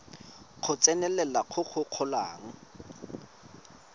go tsenelela go go golang